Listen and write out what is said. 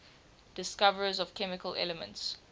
discoverers of chemical elements